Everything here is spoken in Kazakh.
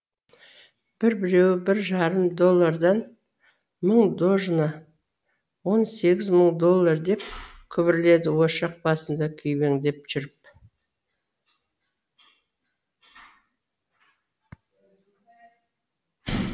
бір біреуі бір жарым доллардан мың дожна он сегіз мың доллар деп күбірледі ошақ басында күйбеңдеп жүріп